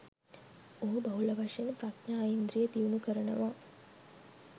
ඔහු බහුල වශයෙන් ප්‍රඥා ඉන්ද්‍රිය දියුණු කරනවා.